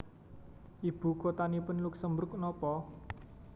Ibu kotanipun Luksemburg nopo